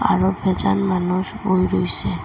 আরও ফেজান মানুষ বয়ে রয়েসে।